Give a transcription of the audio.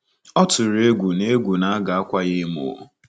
Ọ tụrụ egwu na egwu na a ga-akwa ya emo.